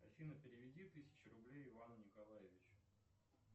афина переведи тысячу рублей ивану николаевичу